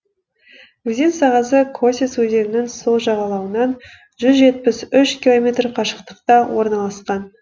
өзен сағасы косец өзенінің сол жағалауынан жүз жетпіс үш километр қашықтықта орналасқан